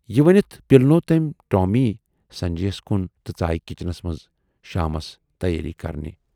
یہِ ؤنِتھ پِلنوو تمٔۍ ٹامی سنجے یَس کُن تہٕ ژایہِ کِچنس منز شامس تیٲری کرنہِ۔